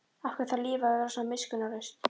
Af hverju þarf lífið að vera svona miskunnarlaust?